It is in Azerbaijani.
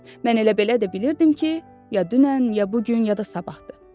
Mən elə-belə də bilirdim ki, ya dünən, ya bu gün, ya da sabahdır.